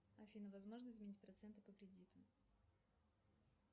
афина возможно изменить проценты по кредиту